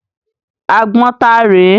Àgbọn ta rè é?